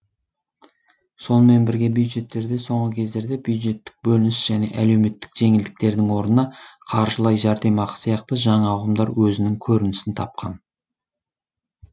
сонымен бірге бюджеттерде соңғы кездерде бюджеттік бөлініс және әлеуметтік жеңілдіктердің орнына қаржылай жәрдемақы сияқты жаңа ұғымдар өзінің көрінісін тапкан